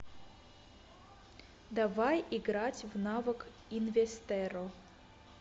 давай играть в навык инвестерро